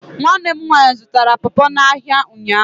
Nwanne m nwaanyị zụtara popo n' áhiá ụnyaahụ.